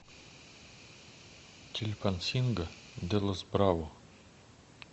чильпансинго де лос браво